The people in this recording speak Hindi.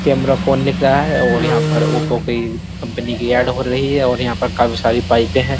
कैमरा फ़ोन लिख रहा है और यहाँ पर ओप्पो की कंपनी की ऐड हो रही है और यहाँ पर काफी सारी बाइकें हैं।